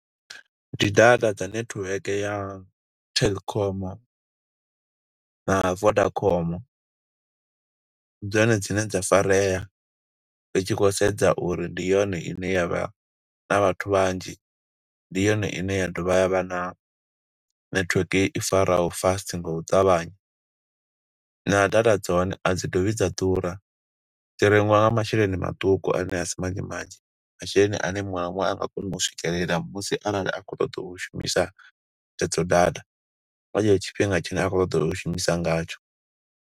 Ndi data dza netiweke ya Telkom na Vodacom, ndi dzone dzine dza farea, ri tshi khou sedza uri ndi yone ine ya vha na vhathu vhanzhi, ndi yone ine ya dovha ya vha na network i faraho fast nga u ṱavhanya. Na data dza hone a dzi dovhi dza ḓura, dzi rengiwa nga masheleni maṱuku ane a si manzhi manzhi. Masheleni ane muṅwe na muṅwe a nga kona u swikelela musi arali a khou ṱoḓa u shumisa hedzo data, nga tshetsho tshifhinga tshine a khou ṱoḓa u shumisa ngatsho.